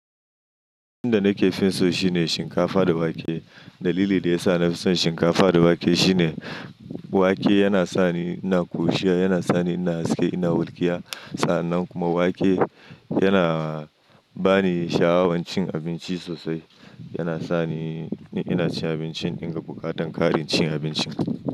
Abincin da nake fin so shine shinkafa da wake. Dalili da yasa na fi son shinkafa da wake shine wake yana sani ina kurushia, yana sani ina haske, ina hulkiya. Sannan kuma wake yana bani sha'awan cin abinci sosai, yana sa ni ina cin abincin daga bukatan ƙarin cin abinci.